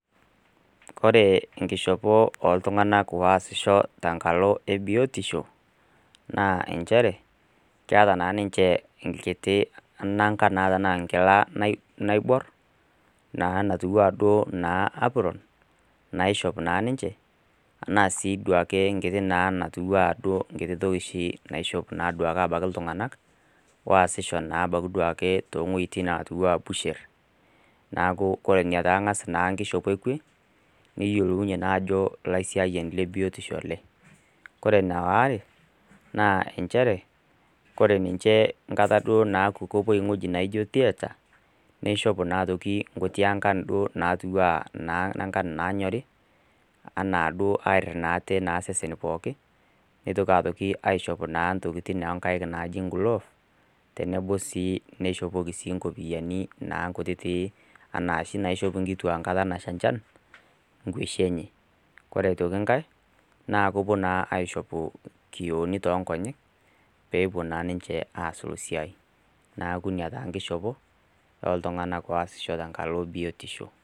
Ore enkishopo o illtung'ana oasisho tenkalo e biotisho naa nchere, keata naa ninche enkiti nanga naa tanaa enkila naibor, naa natiu naa duo anaa uprone, naishop naa ninche, anaa sii duake enkiti natiu naa duo ana enkiti toki oshi naiishop naa duake abaiki iltung'anak, oasisho naake ebaiki naa towuetin natiu anaa butchery. Neaku ina naa enkishopo e kwe, niyiolounye naa ajo oolaisiayani le biotisho ele, kore ene aare, naa ore ninche enkata duo naaku kepuo ewueji naijo theatre, neishop naa aitoki nkulie aankan duo natiu anaa ankan naanyori, anaa duo naa arid aate naa iseseni pookin, neitoki naa aishop intokitin oo nkaik naaji naa gloves, tenebo sii neishopoki naa inkopiani naa inkutiti anaa oshi naishop inkituak enkata nasha enchan, inkueshi enye. Ore aitoki enkai, naa kepuo naa aishopu inkioni too inkonyek, peepuo naa ninche aasu esiai, neaku naa ina enkishopo naishopo iltung'ana tenkala o biotisho.